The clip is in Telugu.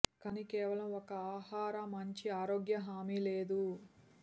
కానీ కేవలం ఒక ఆహార మంచి ఆరోగ్య హామీ లేదు